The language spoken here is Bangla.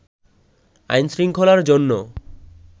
আইনশৃঙ্খলার জন্য